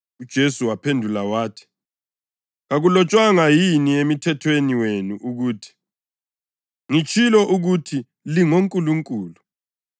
UJesu waphendula wathi, “Kakulotshwanga yini eMthethweni wenu ukuthi, ‘Ngitshilo ukuthi “lingonkulunkulu?” + 10.34 AmaHubo 82.6 ’